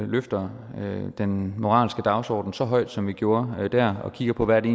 løfter den moralske dagsorden så højt som vi gjorde der og kigger på hvad det